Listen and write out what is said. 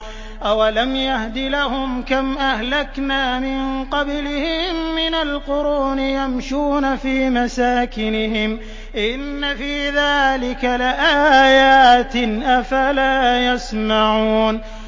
أَوَلَمْ يَهْدِ لَهُمْ كَمْ أَهْلَكْنَا مِن قَبْلِهِم مِّنَ الْقُرُونِ يَمْشُونَ فِي مَسَاكِنِهِمْ ۚ إِنَّ فِي ذَٰلِكَ لَآيَاتٍ ۖ أَفَلَا يَسْمَعُونَ